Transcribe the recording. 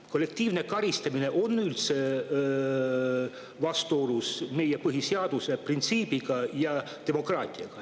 Kollektiivne karistamine on üldse vastuolus meie põhiseaduse printsiibiga ja demokraatiaga.